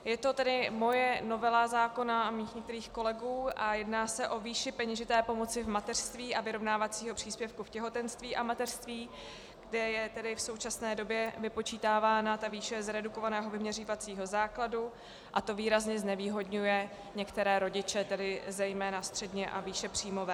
Je to tedy moje novela zákona a mých některých kolegů a jedná se o výši peněžité pomoci v mateřství a vyrovnávacího příspěvku v těhotenství a mateřství, kde je tedy v současné době vypočítávána ta výše z redukovaného vyměřovacího základu, a to výrazně znevýhodňuje některé rodiče, tedy zejména středně- a výšepříjmové.